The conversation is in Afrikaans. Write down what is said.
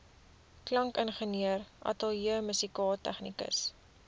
klankingenieur ateljeemusikant tegnikus